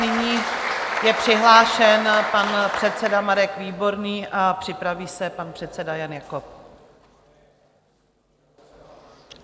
Nyní je přihlášen pan předseda Marek Výborný a připraví se pan předseda Jan Jakob.